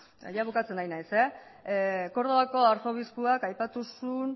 jada bukatzen ari naiz kordobako arzobispoak aipatu zuen